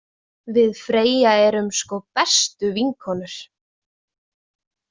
Við Freyja erum sko bestu vinkonur.